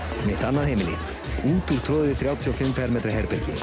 mitt annað heimili þrjátíu og fimm fermetra herbergi